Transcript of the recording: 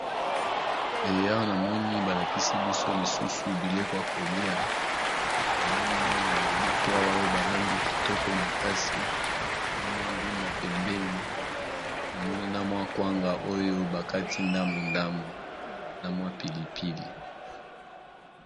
E awa namoni balakisi biso lisusu biloko ya kolia namoni mwa nyama moko awa o balambi kitoko makasi na mwa ndunda pembeni namoni na mwa kwanga oyo bakati ndambu ndambu na mwa pilipili.